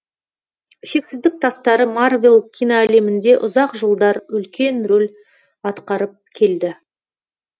шексіздік тастары марвел киноәлемінде ұзақ жылдар үлкен рөл атқарып келді